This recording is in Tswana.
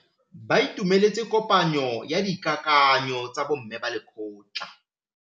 Ba itumeletse kôpanyo ya dikakanyô tsa bo mme ba lekgotla.